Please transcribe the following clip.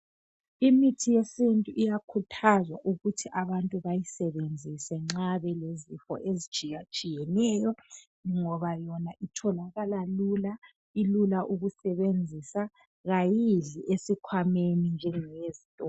Imithi yesintu iyakhuthazwa ukuthi abantu bayisebenzise nxa belezifo ezitshiya-tshiyeneyo ngoba yona itholakala lula ilula ukusebenzisa kayidli esikhwameni njengeyezitolo.